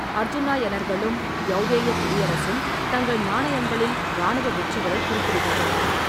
அர்ஜூனாயனர்களும் யௌதேய குடியரசும் தங்கள் நாணயங்களில் இராணுவ வெற்றிகளைக் குறிப்பிடுகின்றன.